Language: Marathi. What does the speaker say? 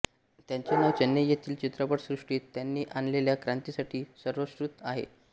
त्यांचे नाव चेन्नई येथील चित्रपट सृष्टित त्यांनी आणलेल्या क्रांतीसाठी सर्वश्रृत आहे